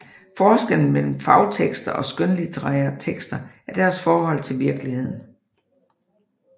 Forskellen mellem fagtekster og skønlitterære tekster er deres forhold til virkeligheden